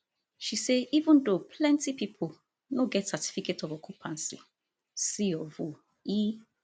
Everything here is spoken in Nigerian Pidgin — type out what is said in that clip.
she say even though plenti pipo no get certificate of occupancy c of o e